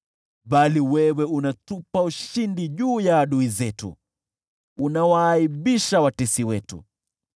bali wewe unatupa ushindi juu ya adui zetu, unawaaibisha watesi wetu.